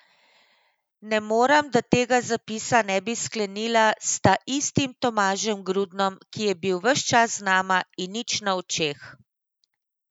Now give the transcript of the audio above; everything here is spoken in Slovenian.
Ne morem, da tega zapisa ne bi sklenila s taistim Tomažem Grudnom, ki je bil ves čas z nama in nič na očeh.